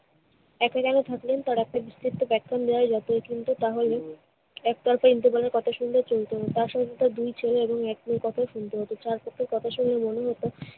একই লেনে থাকলেন তারা শুনত তাহলে একতরফা ইন্দুবালার কথা শুনলে চলতো তার সঙ্গে হয়তো দুই ছেলে এবং এক মেয়ের কথাও শুনতে হতো। কথা শুনে মনে হতো